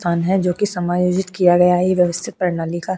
स्थान है जो कि समायोजित किया गया है ये व्यवस्थित प्रणाली का --